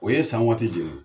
O ye san waati